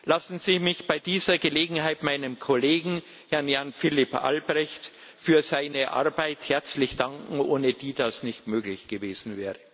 Lassen Sie mich bei dieser Gelegenheit meinem Kollegen, Herrn Jan Philipp Albrecht, für seine Arbeit herzlich danken, ohne die das nicht möglich gewesen wäre.